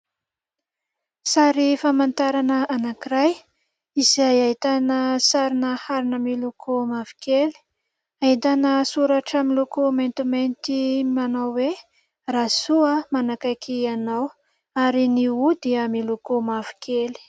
Sary famantarana anankiray izay ahitana sarina harona miloko mavo kely, ahitana soratra miloko maintimainty manao hoe : "Rasoa manakaiky ianao" ary ny "O" dia miloko mavo kely.